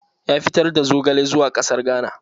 Ya fitar da zogale zuwa ƙasar Ghana